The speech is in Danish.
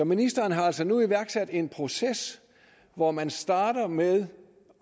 ministeren har altså nu iværksat en proces hvor man starter med